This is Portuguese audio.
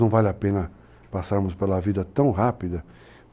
Não vale a pena passarmos pela vida tão rápida.